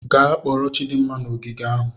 Gaa kporo Chidinma n'ogige ahụ.